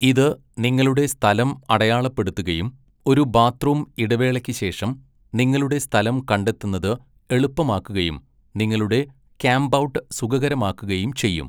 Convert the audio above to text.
ഇത് നിങ്ങളുടെ സ്ഥലം അടയാളപ്പെടുത്തുകയും ഒരു ബാത്ത്റൂം ഇടവേളയ്ക്ക് ശേഷം നിങ്ങളുടെ സ്ഥലം കണ്ടെത്തുന്നത് എളുപ്പമാക്കുകയും നിങ്ങളുടെ ക്യാമ്പൗട്ട് സുഖകരമാക്കുകയും ചെയ്യും.